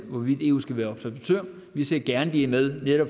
hvorvidt eu skal være observatør vi ser gerne de er med